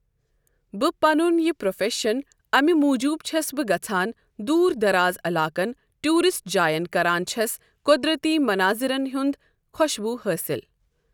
بہٕ پَنُن یہِ پروفیٚشن اَمہِ موجوٗب چھَس بہٕ گژھان دوٗر دَارازعلاقَن ٹوٗرِسٹ جاین کران چھَس قُۄدرَتی مَنازِرَن ہُنٛد خوشبوٗ حٲصِل۔